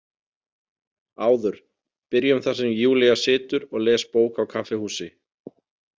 ÁÐUR Byrjum þar sem Júlía situr og les bók á kaffihúsi.